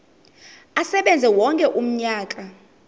asebenze wonke umnyaka